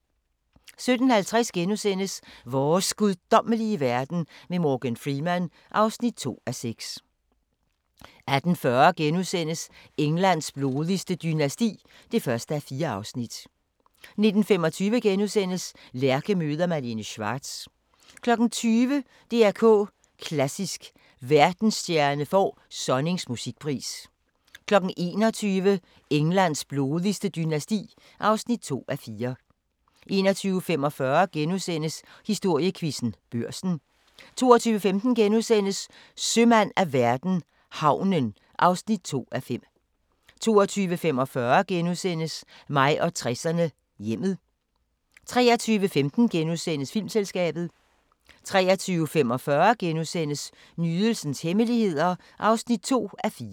17:50: Vores guddommelige verden med Morgan Freeman (2:6)* 18:40: Englands blodigste dynasti (1:4)* 19:25: Lærke møder Malene Schwartz * 20:00: DR K Klassisk: Verdensstjerne får Sonnings musikpris 21:00: Englands blodigste dynasti (2:4) 21:45: Historiequizzen: Børsen * 22:15: Sømand af verden - havnen (2:5)* 22:45: Mig og 60'erne: Hjemmet * 23:15: Filmselskabet * 23:45: Nydelsens hemmeligheder (2:4)*